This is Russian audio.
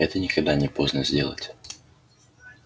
это никогда не поздно сделать